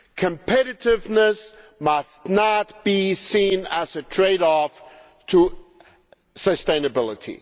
Competitiveness must not be seen as a trade off against sustainability.